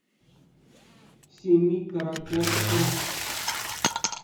семикаракорском